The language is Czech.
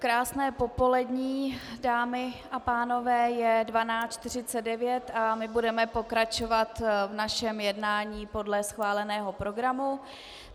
Krásné popolední, dámy a pánové, je 12.49 a my budeme pokračovat v našem jednání podle schváleného programu.